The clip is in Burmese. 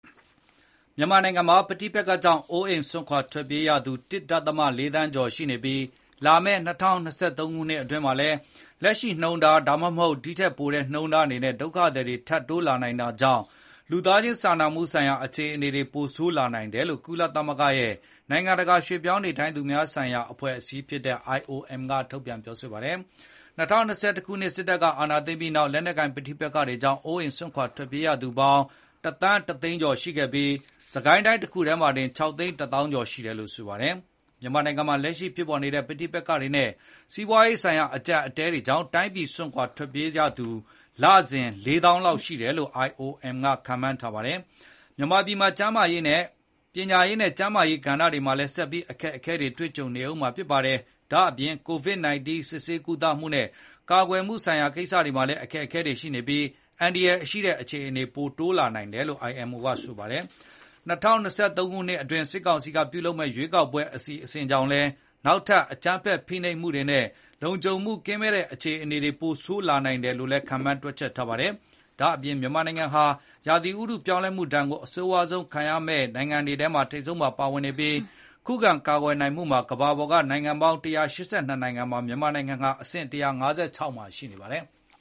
မြန်မာနိုင်ငံမှာ ပဋိပက္ခကြောင့် အိုးအိမ်စွန့်ခွါ ထွက်ပြေးရသူ ၁ ဒသမ ၄ သန်းကျော်ရှိနေပြီး လာမယ့် ၂၀၂၃ ခုနှစ်အတွင်း မှာလည်း လက်ရှိနှုန်းထား ဒါမှမဟုတ် ဒီထက်ပိုတဲ့နှုန်းထားတွေနဲ့ ဒုက္ခသည်တွေ ထပ်တိုးလာနိုင်တာကြောင့် လူသားချင်း စာနာမှုဆိုင်ရာ အခြေအနေတွေဟာ ပိုဆိုးလာနိုင်တယ်လို့ ကုလသမဂ္ဂရဲ့ နိုင်ငံတကာ ရွှေ့ပြောင်းနေထိုင်သူများ ဆိုင်ရာ အဖွဲ့အစည်းဖြစ်တဲ့ IOM ကထုတ်ပြန်ထားပါတယ်။ ၂၀၂၁ ခုနှစ် စစ်တပ်က အာဏာသိမ်းပြီးနောက် လက်နက်ကိုင် ပဋိပက္ခတွေကြောင့် အိုးအိမ်စွန့်ခွါ ထွက်ပြေးရသူပေါင်း ၁,၁၀၀,၀၀၀ ကျော် ရှိခဲ့ပြီး စစ်ကိုင်းတိုင်းတခုထဲမှာတင် ၆၀၁,၀၀၀ ကျော်ရှိတယ်လို့ဆိုပါတယ်။ မြန်မာနိုင်ငံမှာ လက်ရှိဖြစ်ပေါ်နေတဲ့ ပဋိပက္ခတွေနဲ့ စီးပွားရေးဆိုင်ရာ အကြပ်အတည်းတွေကြောင့် တိုင်းပြည်ကို စွန့်ခွါ ထွက်ပြေးရသူ လစဉ် ၄၀,၀၀၀ လောက်ရှိတယ်လို့ IOM ကခန့်မှန်းတွက်ချက်ထားပါတယ်။ မြန်မာပြည်မှာ ပညာရေးနဲ့ ကျန်းမာရေးကဏ္ဍတွေမှာလည်း ဆက်ပြီး အခက်အခဲတွေနဲ့ ကြုံနေရဦးမှာဖြစ်ပါတယ်။ ဒါ့အပြင် Covid-19 စစ်ဆေးကုသမှုနဲ့ ကာကွယ်နိုင်မှုတွေမှာလည်း အခက်အခဲတွေရှိနေပြီး အန္တရာယ်ရှိတဲ့ အခြေအနေ ပိုများလာနိုင်တယ်လို့ IOM ကဖေါ်ပြထားပါတယ်။ ၂၀၂၃ ခုနှစ်အတွင်း စစ်ကောင်စီက ပြုလုပ်မယ့် ရွေးကောက်ပွဲ အစီအစဉ်ကြောင့်လည်း နောက်ထပ် အကြမ်းဖက်ဖိနှိပ်မှု တွေနဲ့ လုံခြုံမှု ကင်းမဲ့တဲ့ အခြေအနေတွေ ပိုဆိုးလာနိုင်တယ်လို့လည်း ခန့်မှန်းတွက်ချက်ထားပါတယ်။ ဒါ့အပြင် မြန်မာနိုင်ငံဟာ ရာသီဥတု ပြောင်းလဲမှုဒဏ်ကို အဆိုးဝါးဆုံး ခံစားရမယ့် နိုင်ငံတွေထဲမှာ ပါဝင်နေပြီး ခုခံကာကွယ်နိုင်မှုမှာ ကမ ္ဘာပေါ်က နိုင်ငံပေါင်း ၁၈၂ နိုင်ငံမှာ မြန်မာနိုင်ငံဟာ အဆင့် ၁၅၆ မှာရှိနေပါတယ်။